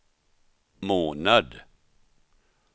månad